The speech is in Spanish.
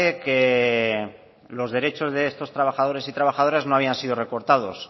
que los derechos de estos trabajadores y trabajadoras no habían sido recortados